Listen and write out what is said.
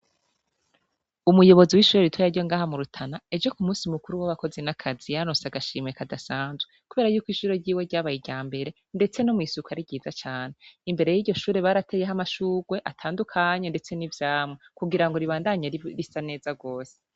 Umuyobozi wishure ryiza ryo murutana ejo kumusi mukuru wabakozi nakazi yararonse akazi gasanzwe kubera yuko ishure ryiwe ryabaye iryambere ndetse no mwisuku ari ryiza cane imbere yiryoshure barateye amashurwe atandukanye ndetse nivyamwa kugirango ribandanye risa neza gose